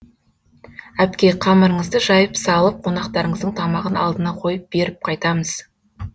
әпке қамырыңызды жайып салып қонақтарыңыздың тамағын алдына қойып беріп қайтамыз